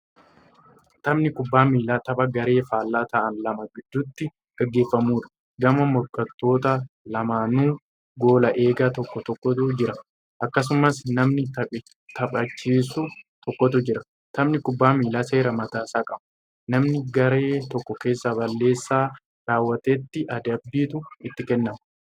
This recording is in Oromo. Taphni kubbaa miillaa tapha garee faallaa ta'an lama gidduutti gaggeeffamuudha. Gama morkattoota lamaaninuu goola egaa tokko tokkotu jira. Akkasumas namni taphachisus tokkotu jira. Taphni kubbaa miillaa seera mataa isaa qaba. Namna garee tokko keessaa balleessaa raawwatetti adabbiitu itti kennamu.